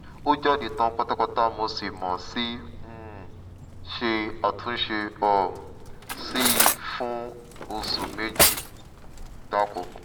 ó jáde tán pátápátá mo sì mo sì um ṣe àtúnṣe um sí i fún oṣù méje gbáko